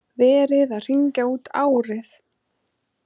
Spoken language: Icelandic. Verið að hringja út árið.